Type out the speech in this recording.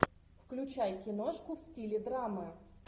включай киношку в стиле драмы